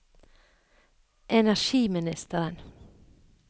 energiministeren